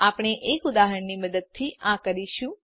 આપણે એક ઉદાહરણની મદદથી આ કરીશું